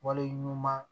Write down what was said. Wale ɲuman